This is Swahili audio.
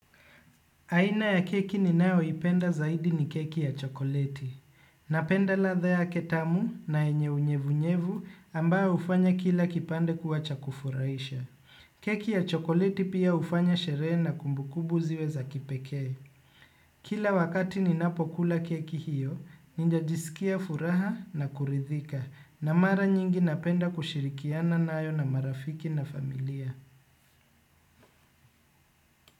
Aina ya keki ninayoipenda zaidi ni keki ya chokoleti. Napenda ladha yake tamu na yenye unyevunyevu ambayo hufanya kila kipande kuwa cha kufurahisha. Keki ya chokoleti pia hufanya sherehe na kumbukumbu ziwe za kipekee. Kila wakati ninapokula keki hiyo, ninajisikia furaha na kuridhika. Na mara nyingi napenda kushirikiana nayo na marafiki na familia.